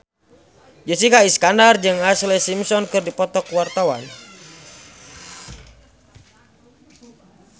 Jessica Iskandar jeung Ashlee Simpson keur dipoto ku wartawan